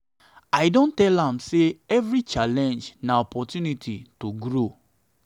i don tell am sey every challenge na opportunity to grow.